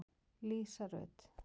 Lísa Rut.